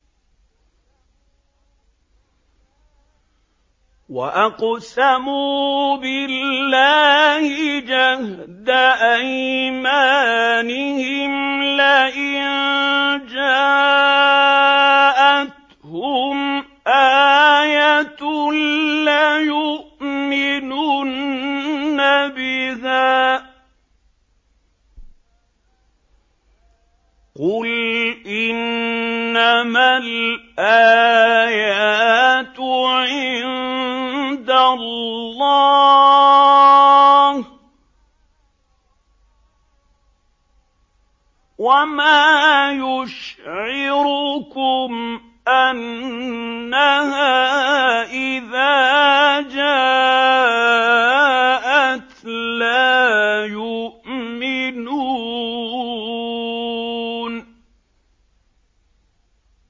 وَأَقْسَمُوا بِاللَّهِ جَهْدَ أَيْمَانِهِمْ لَئِن جَاءَتْهُمْ آيَةٌ لَّيُؤْمِنُنَّ بِهَا ۚ قُلْ إِنَّمَا الْآيَاتُ عِندَ اللَّهِ ۖ وَمَا يُشْعِرُكُمْ أَنَّهَا إِذَا جَاءَتْ لَا يُؤْمِنُونَ